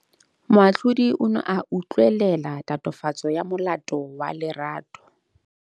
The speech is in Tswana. Moatlhodi o ne a utlwelela tatofatsô ya molato wa Lerato.